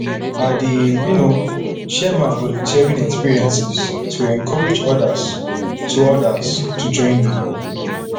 i dey um share my volunteering experiences to encourage odas to odas to join me